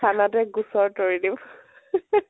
থানাতে গোচৰ তৰি দিব